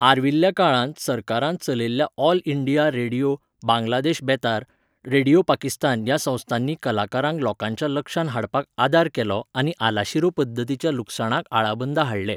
आर्विल्ल्या काळांत सरकारान चलयल्ल्या ऑल इंडिया रेडिओ, बांगलादेश बेतार, रेडिओ पाकिस्तान ह्या संस्थांनी कलाकारांक लोकांच्या लक्षांत हाडपाक आदार केलो आनी आलाशिरो पद्दतीच्या लुकसाणाक आळाबंदा हाडलें.